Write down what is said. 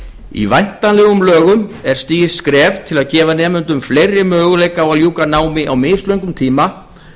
í væntanlegum lögum er stigið skref til að gefa nemendum fleiri möguleika á að ljúka námi á mislöngum tíma